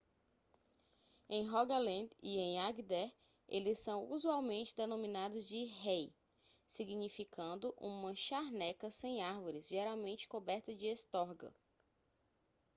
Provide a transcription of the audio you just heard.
em rogaland e em agder eles são usualmente denominados de hei significando uma charneca sem árvores geralmente coberta de estorga